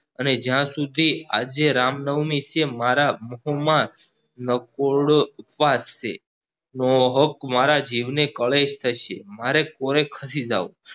અને જ્યાં સુધી આજે રામનવમી છે મારા કુટુંબ મા નકરોડો ઉપવાસ છે મારા જીવ ને કલેશ થશે મારે ખસી જાવ